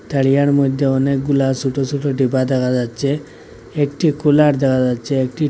তারিয়ার মধ্যে অনেকগুলা সোট সোট ডিব্বা দেখা যাচ্ছে একটি কুলার দেখা যাচ্ছে একটি--